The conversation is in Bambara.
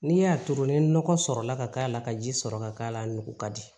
N'i y'a turu ni nɔgɔ sɔrɔ la ka k'a la ka ji sɔrɔ ka k'a la a nugu ka di